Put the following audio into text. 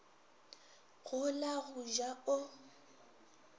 go la go ja o